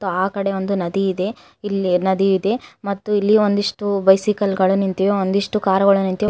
ಆ ಕಡೆ ಒಂದು ನದಿ ಇದೆ ಇಲ್ಲಿ ನದಿ ಇದೆ ಮತ್ತು ಇಲ್ಲಿ ಒಂದಿಷ್ಟು ಬೈಸಿಕಲ್ ಗಳು ನಿಂತಿವೆ ಒಂದಿಷ್ಟು ಕಾರ್ ಗಳು ನಿಂತಿವೆ.